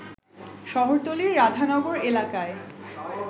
শহরতলীর রাধানগর এলাকায়